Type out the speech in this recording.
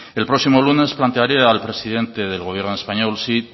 el próximo lunes plantearé al presidente del gobierno español sí